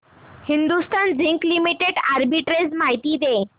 Hindustan zinc limited arbitrage माहिती दे